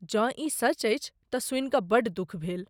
जँ ई सच अछि तऽ सुनि कऽ बड्ड दुख भेल।